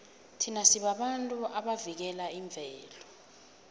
thina sibabantu abavikela imvelo